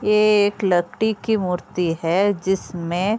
ये एक लती कि मूर्ति है जिसमें --